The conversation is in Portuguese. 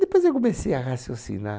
Depois eu comecei a raciocinar.